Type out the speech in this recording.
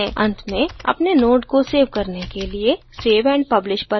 अंत में अपने node को सेव करने के लिए save and publish पर click करें